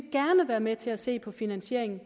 være med til at se på finansieringen